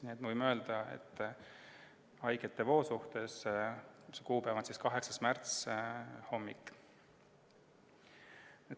Nii et võime öelda, et haigete voo suhtes on see kuupäev 8. märts, hommik.